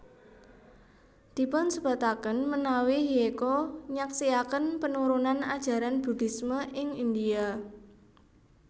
Dipunsebutaken menawi Hyecho nyaksiaken penurunan ajaran Buddhisme ing India